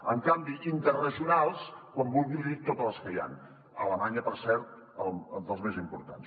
en canvi d’interregionals quan vulgui li dic tots els que hi han alemanya per cert dels més importants